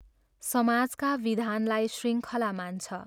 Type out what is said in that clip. समाजका विधानलाई शृङ्खला मान्छ।